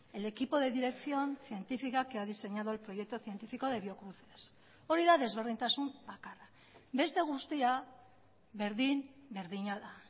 el equipo de dirección científica que ha diseñado el proyecto científico de biocruces hori da desberdintasun bakarra beste guztia berdin berdina da